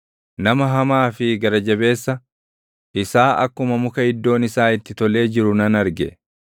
Nama hamaa fi gara jabeessa, isaa akkuma muka iddoon isaa itti tolee jiru nan arge.